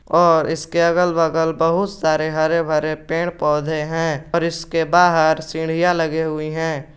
और इसके अगल बगल बहुत सारे हरे भरे पेड़ पौधे हैं और इसके बाहर सीढ़ियां लगी हुई हैं।